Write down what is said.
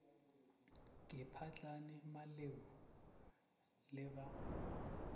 ke phahlane maleu le ba